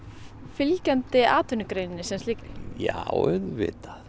fylgjandi atvinnugreininni sem slíkri já auðvitað